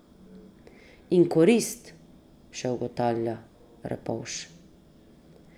In korist, še ugotavlja Repovž.